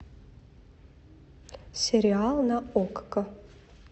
сериал на окко